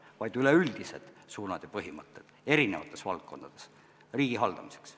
See räägib üleüldistest suundadest ja põhimõtetest eri valdkondades riigi haldamiseks.